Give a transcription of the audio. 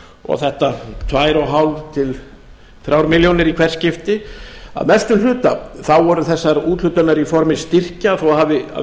og þetta tvö og hálft til þremur milljónum í hvert skipti að mestum hluta voru þessar úthlutanir í formi styrkja þó að líka hafi að